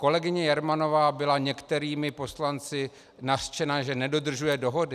Kolegyně Jermanová byla některými poslanci nařčena, že nedodržuje dohody.